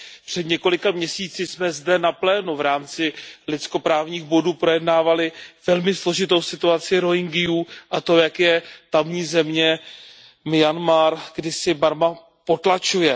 Před několika měsíci jsme zde na plénu v rámci lidskoprávních bodů projednávali velmi složitou situaci Rohingyů a to, jak je tamní země, Myanmar, kdysi Barma, potlačuje.